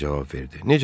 Harvi cavab verdi.